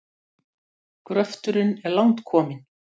Við pöntuðum viskí.